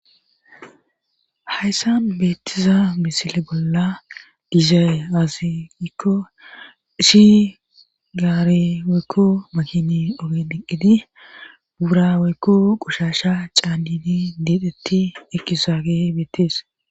Hayssa beettiza misile bolla dizay aziikko ishi gaareweekku makini oge dhiqqidi buurawekku qushasha caannini deedhetti ekkisaage beettees.